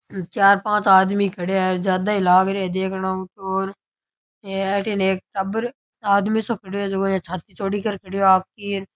चार पांच आदमी खड़ेया है ज्यादा ही लाग रे है देखनाऊ तो और अथीन एक टाबर आदमी सो खड़यो है जको छाती चौड़ी कर खड़यो है आपकी।